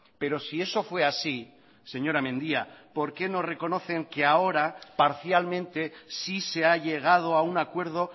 pero si eso fue así señora mendia por qué no reconocen que ahora parcialmente sí se ha llegado a un acuerdo